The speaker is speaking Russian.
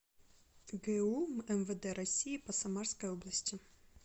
гу мвд россии по самарской области